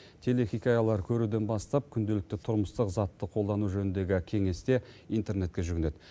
телехикаялар көруден бастап күнделікті тұрмыстық затты қолдану жөніндегі кеңесте интернетке жүгінеді